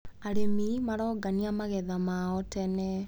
Arĩmi marongania magetha mao tene.